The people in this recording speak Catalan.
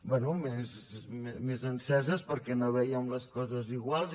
bé més enceses perquè no vèiem les coses iguals